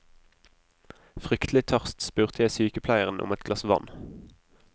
Fryktelig tørst spurte jeg sykepleieren om et glass vann.